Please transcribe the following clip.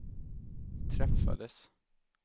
träffades